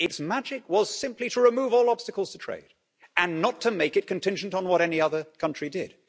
Its magic was simply to remove all obstacles to trade and not to make it contingent on what any other country did.